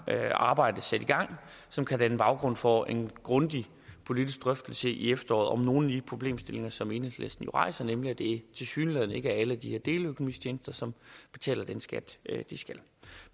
her arbejde sat i gang som kan danne baggrund for en grundig politisk drøftelse i efteråret om nogle af de problemstillinger som enhedslisten rejser nemlig at det tilsyneladende ikke er alle de her deleøkonomitjenester som betaler den skat de skal